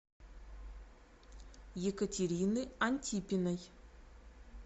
екатерины антипиной